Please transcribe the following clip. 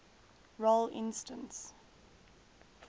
role instance